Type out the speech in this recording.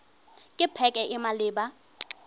ke pac e e maleba